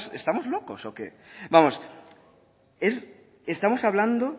estamos locos o qué vamos estamos hablando